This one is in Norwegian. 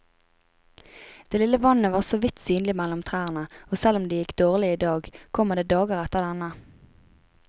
Det lille vannet var såvidt synlig mellom trærne, og selv om det gikk dårlig i dag, kommer det dager etter denne.